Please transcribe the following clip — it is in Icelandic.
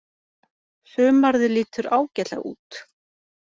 Sumarið lítur ágætlega út.